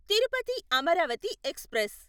Tirupati Amaravati express